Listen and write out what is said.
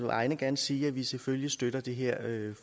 vegne gerne sige at vi selvfølgelig støtter det her